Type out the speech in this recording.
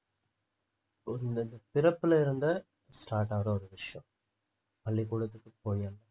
ஒரு இந்த பிறப்புல இருந்து start ஆகுற ஒரு விஷயம் பள்ளிக்கூடத்துக்கு போயேன்